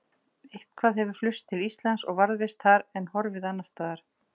Eitthvað hefur flust til Íslands og varðveist þar en horfið annars staðar.